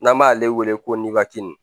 N'an b'ale wele ko